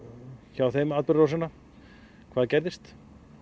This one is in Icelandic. hjá þeim atburðarásina hvað gerðist